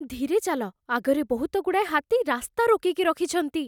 ଧୀରେ ଚାଲ । ଆଗରେ ବହୁତଗୁଡ଼ାଏ ହାତୀ ରାସ୍ତା ରୋକିକି ରଖିଛନ୍ତି ।